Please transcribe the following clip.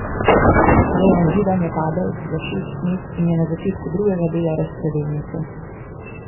Dejan Židan je padel za šest mest in je na začetku drugega dela razpredelnice.